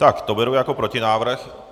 Tak to beru jako protinávrh.